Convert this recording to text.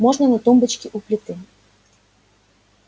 можно на тумбочке у плиты